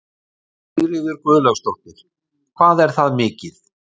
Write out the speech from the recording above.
Sigríður Guðlaugsdóttir: Hvað er það mikið?